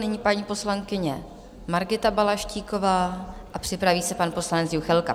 Nyní paní poslankyně Margita Balaštíková a připraví se pan poslanec Juchelka.